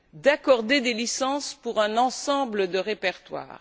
d'accorder des licences pour un ensemble de répertoires.